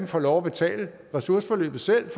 får lov at betale ressourceforløbet selv